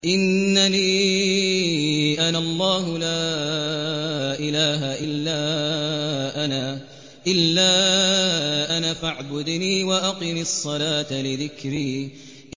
إِنَّنِي أَنَا اللَّهُ لَا إِلَٰهَ إِلَّا أَنَا فَاعْبُدْنِي وَأَقِمِ الصَّلَاةَ لِذِكْرِي